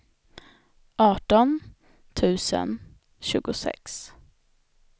arton tusen tjugosex